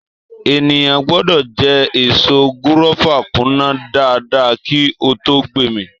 Ènìyàn gbọdọ jẹ èso gúrọ́fà kúná dáadáa kí á tó gbé mì.